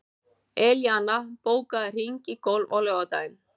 Elíanna, bókaðu hring í golf á laugardaginn.